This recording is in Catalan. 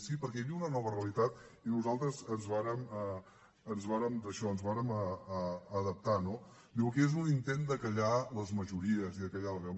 sí perquè hi havia una nova realitat i nosaltres ens vàrem daixò ens vàrem adaptar no diu que és un intent de fer callar les majories i de fer callar la veu